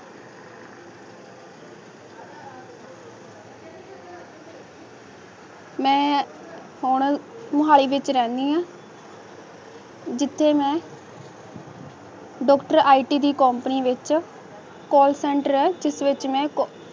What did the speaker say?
ਮੈਂ ਹੁਣ ਮੋਹੱਲੀ ਵਿਚ ਰਹਿਣਾ ਨੀ ਜਿਥੇ ਮੈਈ ਡਾਕਟਰ ਆਟੀ ਦੀ ਕੰਪਨੀ ਵਿਚ ਕੋਲ ਸੈਂਟਰਲ ਹੈ ਜਿਸ ਵਿਚ